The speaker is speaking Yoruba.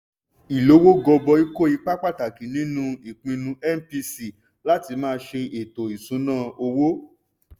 ìlówó gọbọi kó ipa pàtàkì nínú ìpinnu mpc láti máa ṣe ètò ìṣúnná owó.